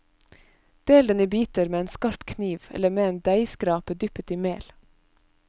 Del den i biter med en skarp kniv eller med deigskrape dyppet i mel.